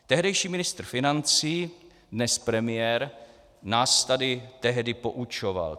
Tehdejší ministr financí, dnes premiér nás tady tehdy poučoval.